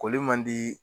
Koli man di